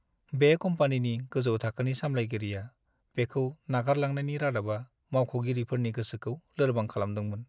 बे कम्पानिनि गोजौ थाखोनि सामलायगिरिया बेखौ नागारलांनायनि रादाबा मावख'गिरिफोरनि गोसोखौ लोर्बां खालामदोंमोन!